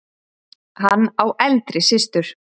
Hann á eldri systur.